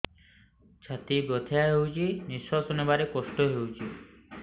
ଛାତି ବଥା ହଉଚି ନିଶ୍ୱାସ ନେବାରେ କଷ୍ଟ ହଉଚି